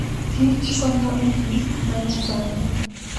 Kich konyo epith manyasani